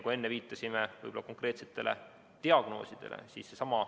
Enne viitasime konkreetsetele diagnoosidele.